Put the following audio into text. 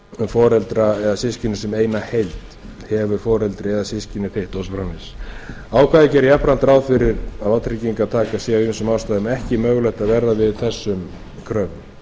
foreldra eða systkini sem eina heild hefur foreldri eða systkini þitt og svo framvegis ákvæðið gerir jafnframt ráð fyrir að vátryggingartaka sé af vissum ástæðum ekki mögulegt að verða við þessum kröfum